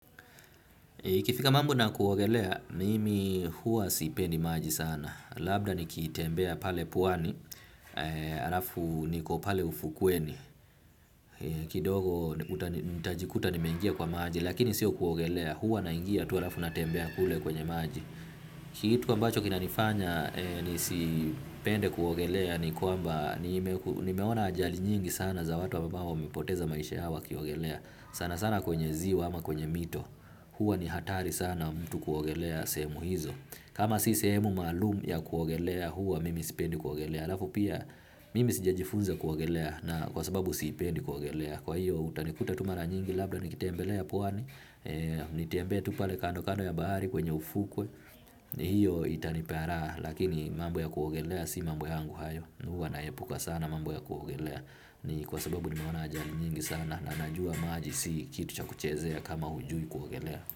Ikifika mambo na kuogelea, nimi hua sipendi maji sana. Labda nikitembea pale pwani, alafu niko pale ufukweni. Kidogo, nitajikuta nimeingia kwa maji, lakini sio kuogelea. Huwa naingia, tu alafu natembea kule kwenye maji. Kitu ambacho kina nifanya, nisi pende kuogelea ni kwamba, nimeona ajali nyingi sana za watu ambao wamepoteza maisha yao wakiogelea. Sana sana kwenye ziwa ama kwenye mito huwa ni hatari sana mtu kuogelea semu hizo kama si sehemu maalum ya kuogelea huwa mimi sipendi kuogelea lafu pia mimi sija jifunza kuogelea na kwa sababu sipendi kuogelea kwa hiyo utanikuta tu mara nyingi labda nikitembelea pwani nitembee tu pale kando kando ya bahari kwenye ufukwe hiyo itanipea raha lakini mambo ya kuogelea si mambo yaangu hayo huwa naepuka sana mambo ya kuogelea. Ni kwa sababu ni meona ajali nyingi sana na najua maaji si kitu cha kuchezea kama hujui kuwagelea.